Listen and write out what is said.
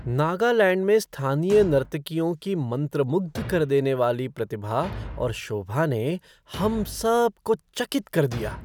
नागालैंड में स्थानीय नर्तकियों की मंत्रमुग्ध कर देने वाली प्रतिभा और शोभा ने हम सब को चकित कर दिया।